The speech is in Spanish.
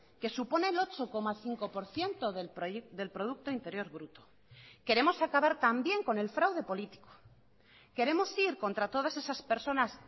que supone el ocho coma cinco por ciento del producto interior bruto queremos acabar también con el fraude político queremos ir contra todas esas personas